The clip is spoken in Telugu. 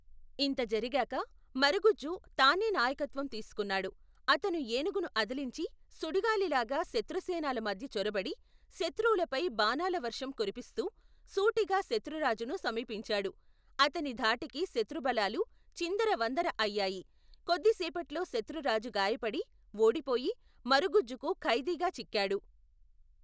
ఇంత జరిగాక మరగుజ్జు తానే నాయకత్వం తీసుకున్నాడు. అతను ఏనుగును అదిలించి సుడిగాలిలాగా శత్రుసేనల మధ్య చొరబడి, శత్రువులపై బాణాలవర్షం కురిపిస్తూ, సూటిగా శత్రురాజును సమీపించాడు. అతని ధాటికి శత్రుబలాలు చిందర వందర అయ్యాయి. కొద్ది సేపట్లో శత్రురాజు గాయపడి, ఓడిపోయి, మరగుజ్జుకు ఖైదీగా చిక్కాడు.